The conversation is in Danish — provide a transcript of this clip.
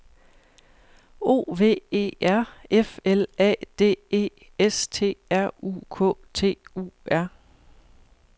O V E R F L A D E S T R U K T U R